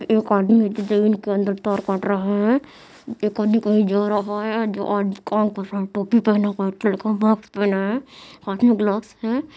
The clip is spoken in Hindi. एक आदमी डिटेन के अंदर तार काट रहा है एक आदमी कही जा रहा है जो आदमी टोपी पहंना हुआ है एक लड़का मास्क पहना है हाथ में ग्लव्स है।